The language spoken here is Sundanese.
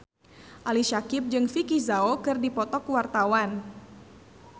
Ali Syakieb jeung Vicki Zao keur dipoto ku wartawan